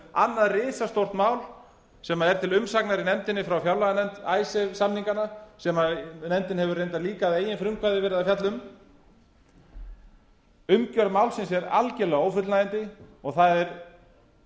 annað risastórt mál sem er til umsagnar í nefndinni frá fjárlaganefnd icesave samningana sem nefndin hefur reyndar líka að eigin frumkvæði verið að fjalla um umgjörð málsins er algerlega ófullnægjandi og það er